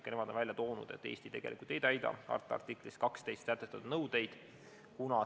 Ka nemad on välja toonud, et Eesti tegelikult ei täida harta artiklis 12 sätestatud nõudeid.